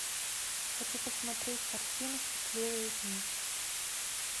хочу посмотреть картину счастливые дни